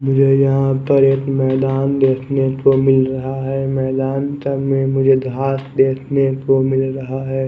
ये यहां पर एक मैदान देखने को मिल रहा है मैदान मुझे घास देखने को मिल रहा है।